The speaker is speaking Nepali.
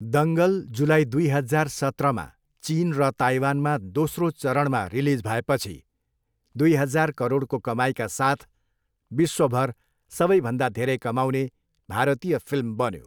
दङ्गल जुलाई दुई हजार सत्रमा चिन र ताइवानमा दोस्रो चरणमा रिलिज भएपछि, दुइ हजार करोडको कमाइका साथ विश्वभर सबैभन्दा धेरै कमाउने भारतीय फिल्म बन्यो।